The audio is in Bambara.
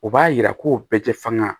O b'a yira ko bɛɛ tɛ faŋa